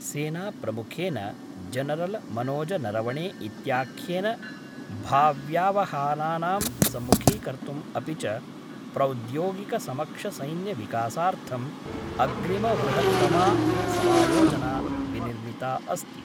सेनाप्रमुखेन जनरलमनोज नरवणे इत्याख्येन भाव्यावहानानाम् सम्मुखीकर्तुं अपि च प्रौद्योगिकसक्षमसैन्यविकासार्थं अग्रिमवृहत्तमा समायोजना विनिर्मिता अस्ति।